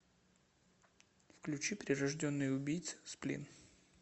включи прирожденный убийца сплин